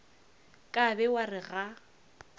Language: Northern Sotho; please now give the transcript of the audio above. ka be wa re ga